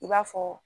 I b'a fɔ